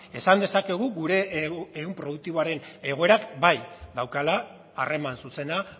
esan dezakegu gure ehun produktiboaren egoerak bai daukala harreman zuzena